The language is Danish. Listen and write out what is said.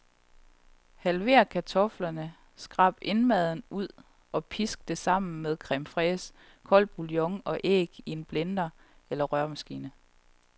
Halver kartoflerne, skrab indmaden ud og pisk det sammen med creme fraiche, kold bouillon og æg i blender eller røremaskine.